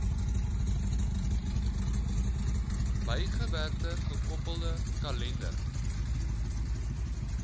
bygewerkte gekoppelde kalender